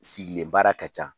Sigilen baara ka ca